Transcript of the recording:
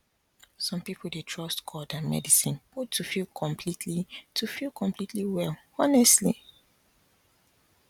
some people dey trust god and medicine both to feel completely to feel completely well honestly